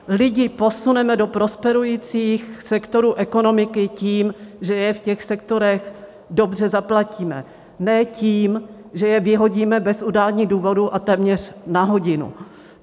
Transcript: Lidi posuneme do prosperujících sektorů ekonomiky tím, že je v těch sektorech dobře zaplatíme, ne tím, že je vyhodíme bez udání důvodu a téměř na hodinu.